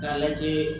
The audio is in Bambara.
K'a lajɛ